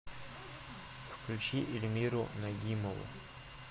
включи ильмиру нагимову